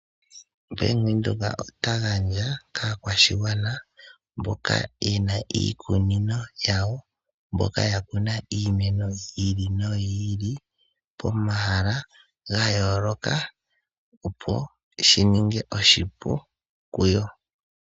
Bank Windhoek ota gandja kaakwashigwana mboka yena iikunino yawo yiimeno yili noyili , pomahala gayooloka. Shika ohashi ningi oshipu kuyo opo ya lande iikwathitho yiimeno yawo ngaashi ominino, uuhoho nayilwe.